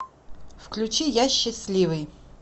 включи я счастливый